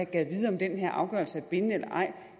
gad vide om den her afgørelse er bindende eller ej